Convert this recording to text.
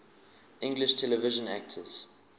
english television actors